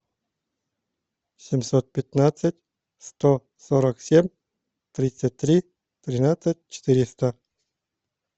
семьсот пятнадцать сто сорок семь тридцать три тринадцать четыреста